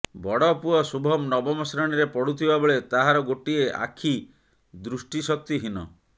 ବଡ ପୁଅ ଶୁଭମ ନବମ ଶ୍ରେଣୀରେ ପଢୁଥିବା ବେଳେ ତାହାର ଗୋଟିଏ ଆଖି ଦୃଶ୍ୟଶକ୍ତି ହୀନ